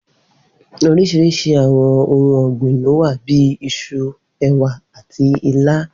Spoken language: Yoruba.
Oríṣiríṣi àwọn ohun ọ̀gbìn lówà bíi Isu, ẹ̀wà àti ilá.